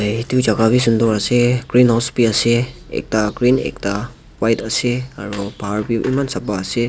itu jaga bi sundur ase green house bi ase ekta green ekta white ase aro bahar bi eman sapha ase.